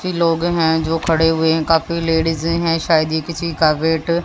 लोग हैं जो खड़े हुए हैं काफी लेडिजे हैं शायद ये किसी का वेट --